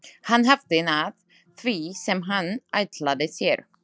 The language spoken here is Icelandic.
Hann hafði náð því sem hann ætlaði sér.